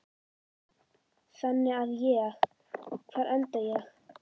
Þannig að ég, hvar enda ég?